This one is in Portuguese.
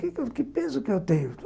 Que peso que eu tenho?